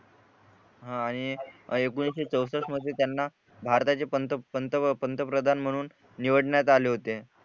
हा आणि एकोणीशे चौसष्ठ मध्ये त्यांना भारताचे पंत पंत पंतप्रधान म्हणून निवडण्यात आले होते